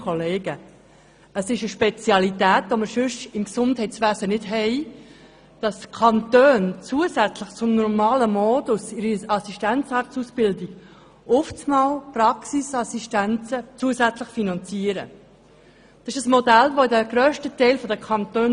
Dass die Kantone zusätzlich zum normalen Modus in der Assistenzarztausbildung Praxisassistenzen zusätzlich finanzieren, ist eine Spezialität, die man sonst im Gesundheitswesen nicht findet.